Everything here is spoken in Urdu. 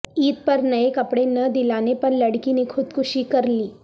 عید پر نئے کپڑے نہ دلانے پر لڑکی نے خودکشی کر لی